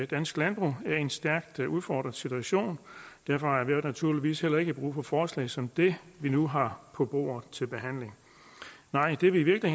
dansk landbrug er i en stærkt udfordret situation derfor har vi naturligvis heller ikke brug for forslag som det vi nu har på bordet til behandling det vi i